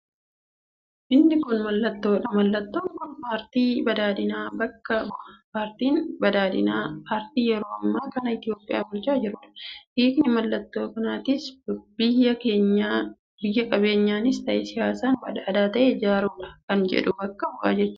Inni kun mallattoodha. Mallattoon kun paarti badhaadhinnaa bakka bu'a. Paartiin badhaadhinnaa paartii yeroo ammaa kana itiyoophiyaa bulchaa jiruudha. Hiikni mallattoo kanaatis biyya qabeenyaanis ta'ee siyaasaan badhaadha ta'e ijaaruudha kan jedhu bakka bu'a jechuudha.